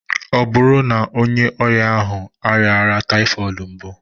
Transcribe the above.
Ọ bụrụ na onye ọrịa ahụ rịa ọrịa typhoid mbụ?